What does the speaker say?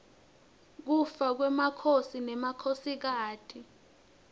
kufa kwemakhosi nemakhosikati